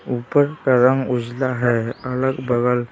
ऊपर का रंग उजला है अलग बगल --